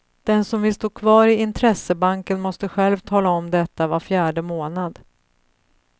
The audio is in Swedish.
Den som vill stå kvar i intressebanken måste själv tala om detta var fjärde månad.